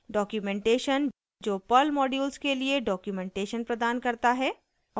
documentation जो perl modules के लिए डॉक्यूमेंटेशन प्रदान करता है